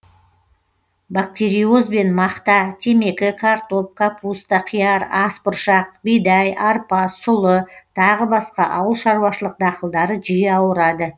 бактериозбен мақта темекі картоп капуста қияр ас бұршақ бидай арпа сұлы тағы басқа ауыл шаруашылық дақылдары жиі ауырады